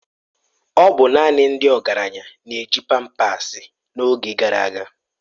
Ọ bụ naanị ndị ọgaranya na-eji pampasi n'oge gara aga.